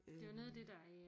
Det var noget af det der øh